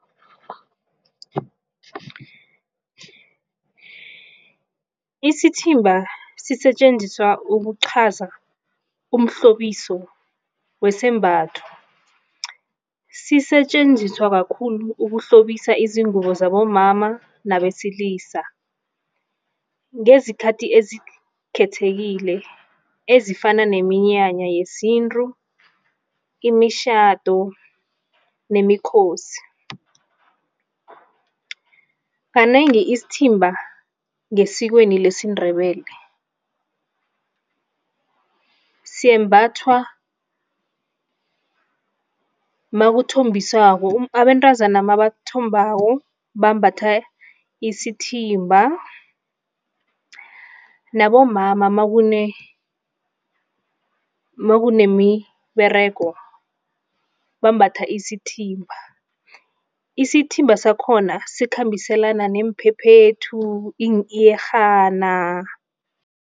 Isithimba sisetjenziswa ukuqhaza umhlobiso wesembatho. Sisetjenziswa kakhulu ukuhlobisa izingubo zabomama nabesilisa ngezikhathi ezikhethekile ezifana neminyanya yesintu, imitjhado nemikhosi. Kanengi isithimba ngesikweni lesiNdebele sembathwa makuthombiswako, abentazana nabathombako bambatha isithimba, nabomama makunemiberego bambatha isithimba. Isithimba sakhona sikhambiselana neemphephethu iiyerhana.